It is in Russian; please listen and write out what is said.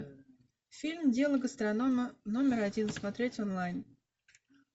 фильм дело гастронома номер один смотреть онлайн